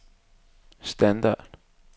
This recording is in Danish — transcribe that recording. standard